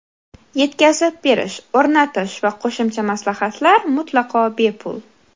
Yetkazib berish, o‘rnatish va qo‘shimcha maslahatlar mutlaqo bepul.